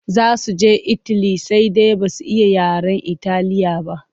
Za su je itali sai dai ba su iya yaren Italiya ba.